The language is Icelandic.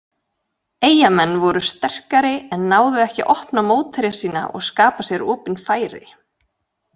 Eyjamenn voru sterkari en náðu ekki að opna mótherja sína og skapa sér opin færi.